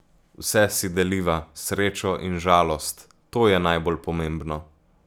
Vse si deliva, srečo in žalost, to je najbolj pomembno.